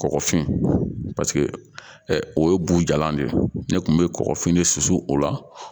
Kɔgɔfin o ye bujalan de ye ne kun be kɔkɔ fini de susu o la